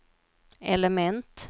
element